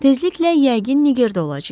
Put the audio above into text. Tezliklə yəqin Nigerdə olacağıq.